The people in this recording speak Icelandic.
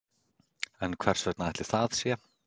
En hvers vegna ætli það sé?